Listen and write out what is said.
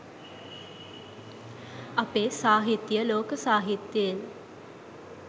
අපේ සාහිත්‍යය ලෝක සාහිත්‍යයෙන්